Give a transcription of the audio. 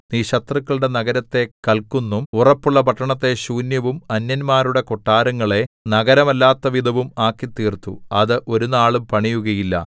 നീ ശത്രുകളുടെ നഗരത്തെ കല്ക്കുന്നും ഉറപ്പുള്ള പട്ടണത്തെ ശൂന്യവും അന്യന്മാരുടെ കൊട്ടാരങ്ങളെ നഗരമല്ലാത്തവിധവും ആക്കിത്തീർത്തു അത് ഒരുനാളും പണിയുകയില്ല